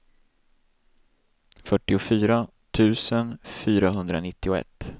fyrtiofyra tusen fyrahundranittioett